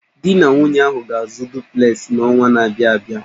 Di na nwunye ahụ ga-azụ duplesị n'ọnwa na-abịa abịa.